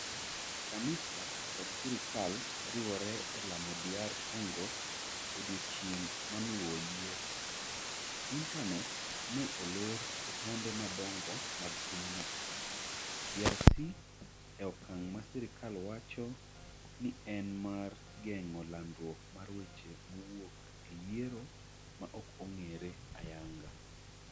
Kanisa kod Sirkal Riwore e Lamo DR Congo Odiechieng ' ma noluwo yiero, Intanet ne olor e taonde madongo mag pinyno. DRC e okang' ma sirkal wacho ni en mar geng'o landruok mar weche mowuok e yiero ma ok ong'ere ayanga.